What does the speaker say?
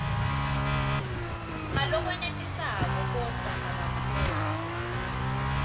ngalokwenetisako kodvwa akakhoni